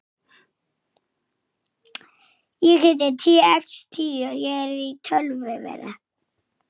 Reyndi samt.